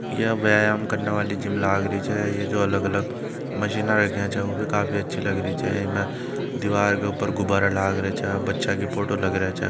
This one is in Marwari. यह व्यायाम करने वाली जिम लाग री छह ये जो अलग अलग मशीने रखी है वो भी काफी अच्छी लग रही छह इमें दीवार के ऊपर गुब्बारा लाग रहिया छह बच्चा के फोटो लगी रही छह।